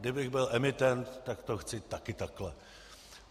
Kdybych byl emitent, tak to chci také takto.